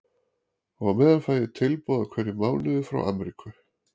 Og á meðan fæ ég tilboð í hverjum mánuði frá Amríku.